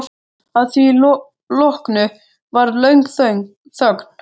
Að því loknu varð löng þögn.